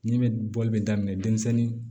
Ne bɛ bɔli bɛ daminɛ denmisɛnnin